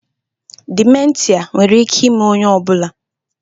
Dimentia nwere ike ime onye ọ bụla